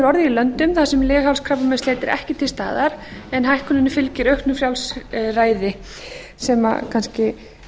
orðið í löndum þar sem leghálskrabbameinsleit er ekki til staðar en hækkunin fylgir auknu frjálsræði sem kannski